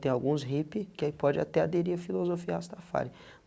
Tem alguns hippie que aí pode até aderir a filosofia Rastafari.